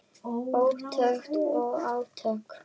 Hugtök og átök.